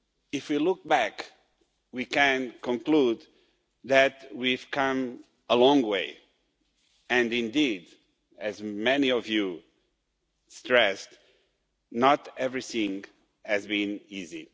If we look back, we can conclude that we have come a long way and, indeed, as many of you stressed, not everything has been easy.